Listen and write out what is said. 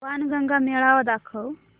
बाणगंगा मेळावा दाखव